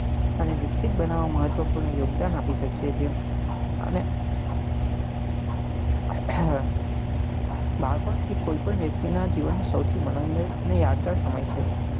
અને વિક્ષિત બનવવા મહત્વ પૂર્ણ યોગદાન આપી શકીએ ચી અને બાળપણ એ કોઈ પણ વ્યક્તિ ના જીવન નું સૌથી માંનોદાયક અને યાદગાર સમય છે.